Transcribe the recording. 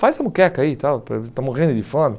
Faz a muqueca aí tal, estamos morrendo de fome.